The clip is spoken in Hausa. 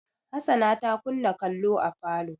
Hassana ta kunna kallo a falo.